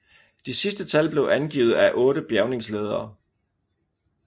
De sidste tal blev angivet af otte bjærgningsledere